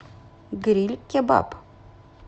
гриль кебаб